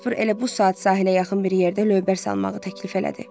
Jasper elə bu saat sahilə yaxın bir yerdə lövbər salmağı təklif elədi.